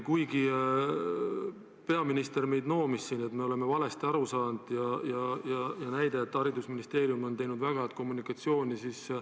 Peaminister noomis meid, et me oleme valesti aru saanud, ja tõi näiteks, et haridusministeerium on teinud väga head kommunikatsiooni.